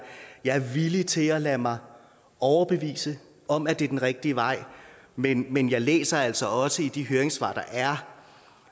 er villig til at lade mig overbevise om at det er den rigtige vej men men jeg læser altså også i de høringssvar der er